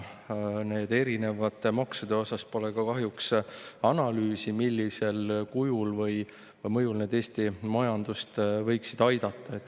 Nende erinevate maksude kohta pole ka kahjuks analüüsi, millisel kujul või mille mõjul need Eesti majandust võiksid aidata.